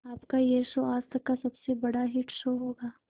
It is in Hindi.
आपका यह शो आज तक का सबसे बड़ा हिट शो होगा